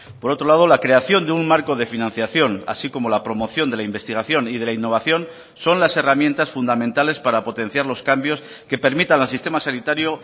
por otro lado la creación de un marco de financiación así como la promoción de la investigación y de la innovación son las herramientas fundamentales para potenciar los cambios que permitan al sistema sanitario